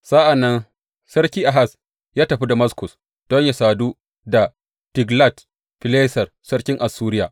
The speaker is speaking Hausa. Sa’an nan sarki Ahaz ya tafi Damaskus don yă sadu da Tiglat Fileser sarkin Assuriya.